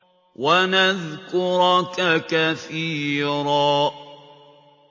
وَنَذْكُرَكَ كَثِيرًا